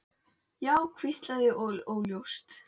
Já. hvíslandi og óljóst.